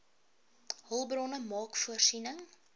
hulpbronne maak voorsiening